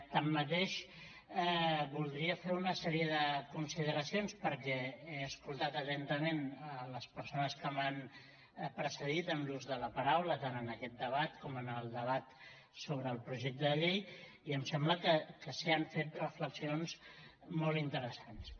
tanmateix voldria fer una sèrie de consideracions perquè he escoltat atentament les persones que m’han precedit en l’ús de la paraula tant en aquest debat com en el debat sobre el projecte de llei i em sembla que s’hi han fet reflexions molt interessants